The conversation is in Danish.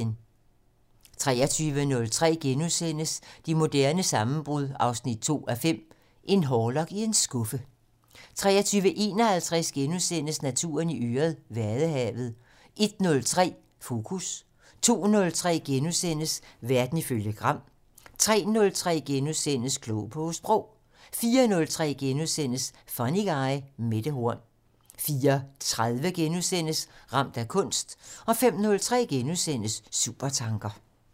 23:03: Det moderne sammenbrud 2:5 - En hårlok i en skuffe * 23:51: Naturen i øret: Vadehavet * 01:03: Fokus 02:03: Verden ifølge Gram * 03:03: Klog på Sprog * 04:03: Funny Guy: Mette Horn * 04:30: Ramt af kunst * 05:03: Supertanker *